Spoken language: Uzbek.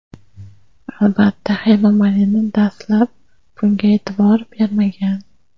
Albatta, Hema Malini dastlab bunga e’tibor bermagan.